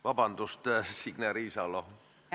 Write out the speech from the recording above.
Vabandust, Signe Riisalo!